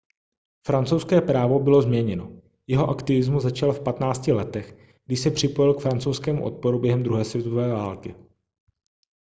francouzské právo bylo změněno jeho aktivismus začal v 15 letech když se připojil k francouzskému odporu během druhé světové války